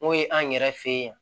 N'o ye an yɛrɛ fɛ yen